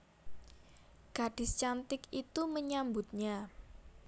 Gadis cantik itu menyambutnya